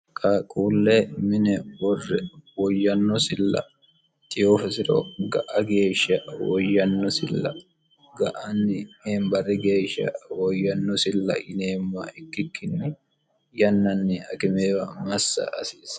kaqquulle mine worre woyyannosilla tiyoofisiro ga'a geeshsha woyyannosilla ga'anni heembarri geeshsha woyyannosilla ineemma ikkikkinni yannanni akimeewa massa asiise